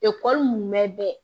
mun bɛ bɛɛ